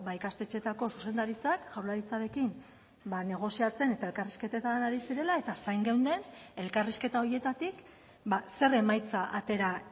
ikastetxeetako zuzendaritzak jaurlaritzarekin negoziatzen eta elkarrizketetan ari zirela eta zain geunden elkarrizketa horietatik zer emaitza atera